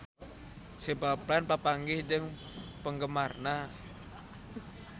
Simple Plan papanggih jeung penggemarna